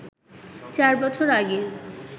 ৪ বছর আগে